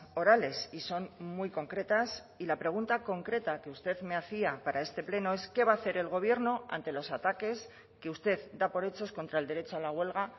orales y son muy concretas y la pregunta concreta que usted me hacía para este pleno es qué va a hacer el gobierno ante los ataques que usted da por hechos contra el derecho a la huelga